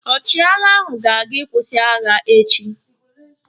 Ọchịagha ahụ ga-aga ịkwụsị agha ọ echi.